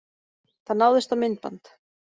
Það náðist á myndband.